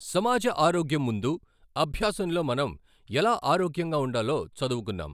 సమాజ ఆరోగ్యం ముందు అభ్యాసంలో మనం ఎలా ఆరోగ్యంగా ఉండాలో చదువుకున్నాం.